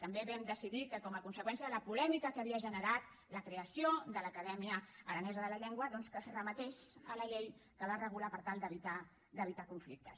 també vam decidir que com a conseqüència de la polèmica que havia generat la creació de l’acadèmia aranesa de la llengua doncs que es remetés a la llei que la regula per tal d’evitar conflictes